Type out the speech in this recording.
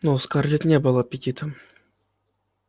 но у скарлетт не было аппетита